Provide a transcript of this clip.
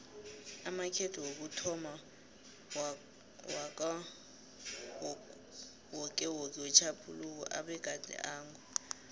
amakhetho wokuthomma wakawokewoke wetjhaphuluko abegade ango